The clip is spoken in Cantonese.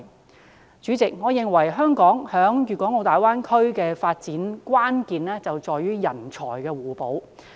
代理主席，我認為香港在大灣區的發展關鍵在於人才互補。